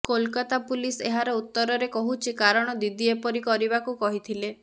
Kolkata police ଏହାର ଉତ୍ତରରେ କହୁଛି କାରଣ ଦିଦି ଏପରି କରିବାକୁ କହିଥିଲେ